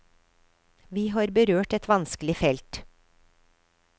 Vi har berørt et vanskelig felt.